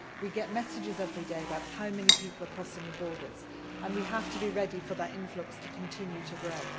We get messages every day about how many people are crossing the borders, and we have to expect that influx to continue to grow.